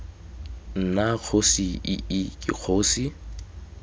nna kgosi ii ke kgosi